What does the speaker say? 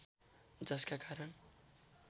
जसका कारण